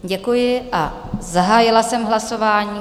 Děkuji a zahájila jsem hlasování.